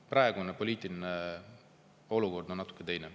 Praegune poliitiline olukord on natuke teine.